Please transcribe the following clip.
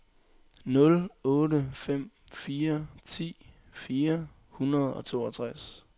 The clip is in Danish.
nul otte fem fire ti fire hundrede og toogtres